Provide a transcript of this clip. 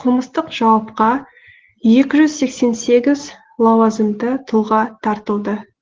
қылмыстық жауапқа екі жүз сексен сегіз лауазымды тұлға тартылды